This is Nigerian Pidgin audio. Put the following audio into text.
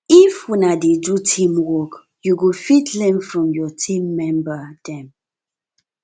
if una dey do teamwork you go fit learn from your team member dem